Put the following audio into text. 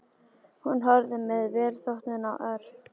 Hún horfði með velþóknun á Örn.